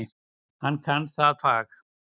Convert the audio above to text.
Hann kann það fag.